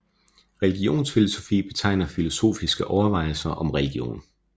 Religionsfilosofi betegner filosofiske overvejelser om religion